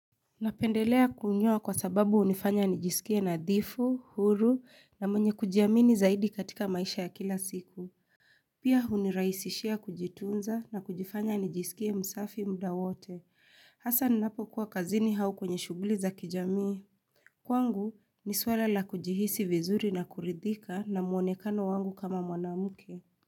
Napendelea kunyoa kwa sababu hunifanya nijisikie nadhifu, huru na mwenye kujiamini zaidi katika maisha ya kila siku. Pia hunirahisishia kujitunza na kujifanya nijisikie msafi mda wote. Hasa ninapokuwa kazini hau kwenye shughuli za kijamii. Kwangu ni swala la kujihisi vizuri na kuridhika na mwonekano wangu kama mwanamke.